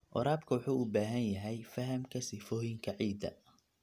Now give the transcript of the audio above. Waraabka wuxuu u baahan yahay fahamka sifooyinka ciidda.